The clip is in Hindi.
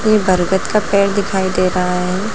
ये बरगद का पेड़ दिखाई दे रहा है।